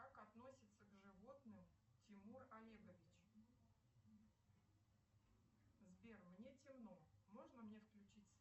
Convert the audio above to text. как относится к животным тимур олегович сбер мне темно можно мне включить